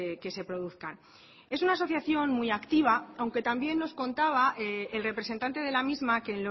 que se produzcan es una asociación muy activa aunque también nos contaba el representante de la misma que